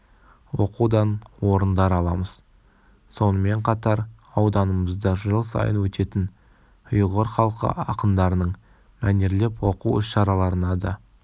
оқудан орындар аламыз сонымен қатар ауданымызда жыл сайын өтетін ұйғыр халқы ақындарының мәнерлеп оқу іс-шараларына да